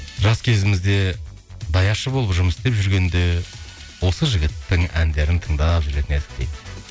жас кезімізде даяшы болып жұмыс істеп жүргенде осы жігіттің әндерін тыңдап жүретін едік дейді